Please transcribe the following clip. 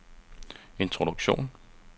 introduktion